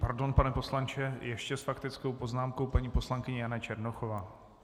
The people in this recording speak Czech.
Pardon, pane poslanče , ještě s faktickou poznámkou paní poslankyně Jana Černochová.